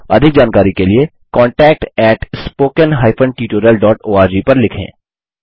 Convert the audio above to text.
अधिक जानकारी के लिए contactspoken tutorialorg पर लिखें